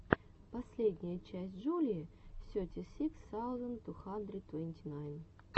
последняя часть джулии сети сикс саузенд ту хандрид твэнти найн